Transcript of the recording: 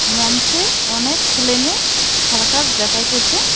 মঞ্চে অনেক সেলেমেয়ে সার্কাস দেখাইতেসে।